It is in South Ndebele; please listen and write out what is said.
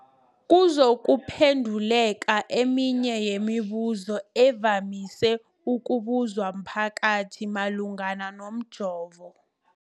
kuzokuphe nduleka eminye yemibu zo evamise ukubuzwa mphakathi malungana nomjovo.